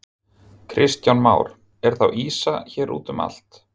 Kristján Már: Er þá ýsa hér útum allt?